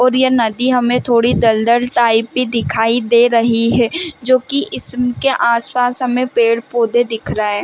और ये नदी हमे थोड़ी दल-दल टाइप की दिखाई दे रही है जो की इसम के आस-पास हमे पेड़-पौधे दिख रहे--